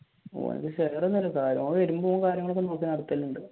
ഓന്ക്ക് share ഒന്നും ഇല്ല